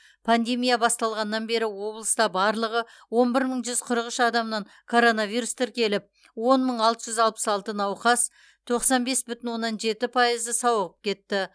пандемия басталғаннан бері облыста барлығы он бір мың жүз қырық үш адамнан коронавирус тіркеліп он мың алты жүз алпыс алты науқас тоқсан бес бүтін оннан жеті пайызы сауығып кетті